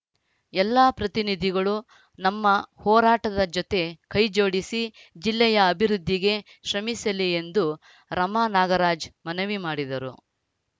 ಎಲ್ಲಾ ಪತ್ರಿನಿಧಿಗಳು ನಮ್ಮ ಹೋರಾಟದ ಜೊತೆ ಕೈಜೋಡಿಸಿ ಜಿಲ್ಲೆಯ ಅಭಿವೃದ್ಧಿಗೆ ಶ್ರಮಿಸಲಿ ಎಂದು ರಮಾನಾಗರಾಜ್‌ ಮನವಿ ಮಾಡಿದರು